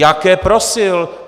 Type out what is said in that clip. Jaké prosil!